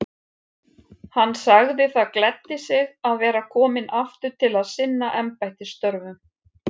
Hann sagði það gleddi sig að vera kominn aftur til að sinna embættisstörfum.